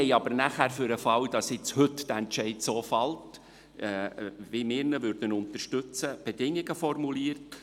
Sie haben aber für den Fall, dass der Entscheid heute so gefällt wird, wie wir ihn unterstützen, Bedingungen formuliert.